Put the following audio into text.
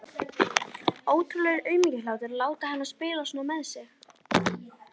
Ótrúlegur aumingjaháttur að láta hana spila svona með sig.